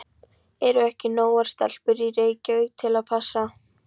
Eru ekki nógar stelpur í Reykjavík til að passa?